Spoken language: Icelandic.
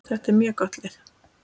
Þetta er mjög gott lið.